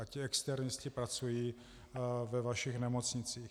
A ti externisté pracují ve vašich nemocnicích.